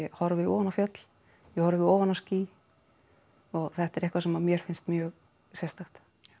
horfi ofan á fjöll ég horfi ofan á ský og þetta er eitthvað sem mér finnst mjög sérstakt